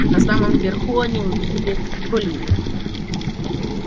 на самом верху они увидели колина